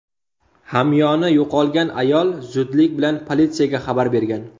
Hamyoni yo‘qolgan ayol zudlik bilan politsiyaga xabar bergan.